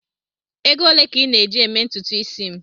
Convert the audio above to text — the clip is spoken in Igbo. Ego ole ka ị na-eji eme ntutu isi m?